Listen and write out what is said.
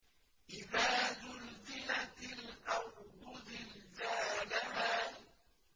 إِذَا زُلْزِلَتِ الْأَرْضُ زِلْزَالَهَا